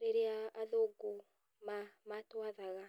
rĩrĩa athũngũ matwathaga.